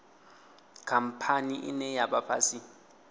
khamphani ine ya vha fhasi